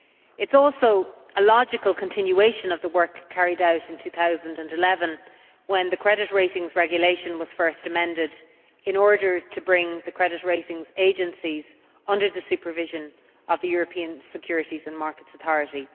It is also a logical continuation of the work carried out in 2011, when the Credit Ratings Regulation was first amended in order to bring the credit ratings agencies under the supervision of the European Securities and Markets Authority.